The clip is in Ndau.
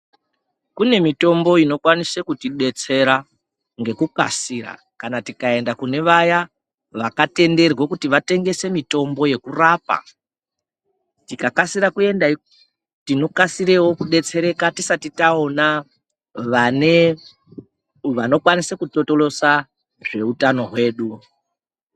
Kunemitombo inokwanise kuti detsera ngekukasira kana tikaenda kunevaya vakatenderwe kuti vatengese mitombo yekurapa. Tikakasira kuendeko, tinokasira kudetsereka tisati tawona vanokwanisa kutotolosa zvehutano wedu.